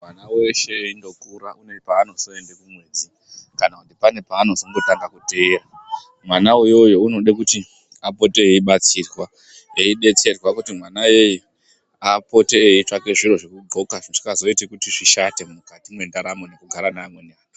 Mwana veshe eindokura une paanozoende kumwedzi kana kuti pane paanozongotanga kuteera. Mwana iyoyo unode kuti apote eibatsirwa eibetserwa kuti mwana iyeye apote eitsvaka zviro zvekudhloka zvisingazoiti kuti zvishate mukati mwendaramo nekugara neamweni antu.